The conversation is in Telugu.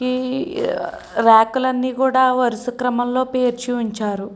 ఈ రాకలన్నీ కూడ వరుస క్రమంలోని పేర్చి ఉంచారు.